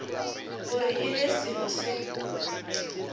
gore e be selo se